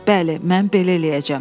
Bəli, mən belə eləyəcəm.